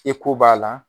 Eko b'a la